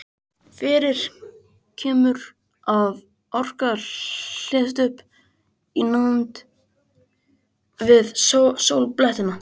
Fyrir kemur að orka hleðst upp í nánd við sólblettina.